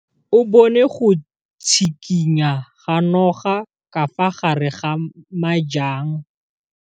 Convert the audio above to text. O bone go tshikinya ga noga ka fa gare ga majang.